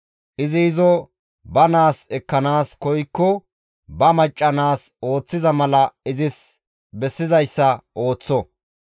Izi izo ba naas ekkanaas koykko ba macca naas ooththiza mala izis bessizayssa ooththo.